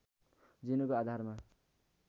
जिनको आधारमा